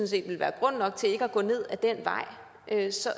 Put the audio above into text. set ville være grund nok til ikke at gå ned ad den vej så